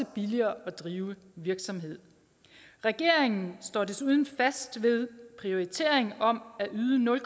og billigere at drive en virksomhed regeringen står desuden fast ved prioriteringen om at yde nul